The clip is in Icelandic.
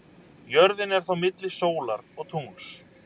Jörðin er þá milli sólar og tungls.